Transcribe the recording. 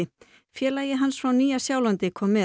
félagi hans frá Nýja Sjálandi kom með